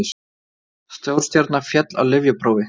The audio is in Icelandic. Stórstjarna féll á lyfjaprófi